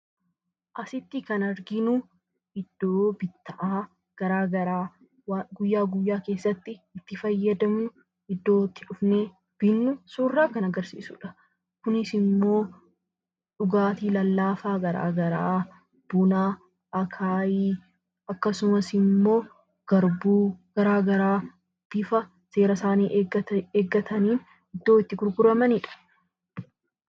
Asitti kan arginu iddoo kitta'aa gara garaa guyyaa guyyaa keessatti itti fayyadamnu ,iddoo itti dhufnee binnu kan nutti agarsiiisudha. Kunisimmoo dhugaatii lallaafaa gara garaa, buna, akaayii, akkasummas immoo Harbour gara garaa bifa seera isaanii eeggatanii iddootti gurguramanidha.